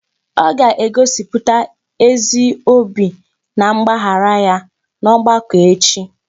Ọ ga-egosiputa ezi obi na mgbaghara ya n'ọgbakọ echi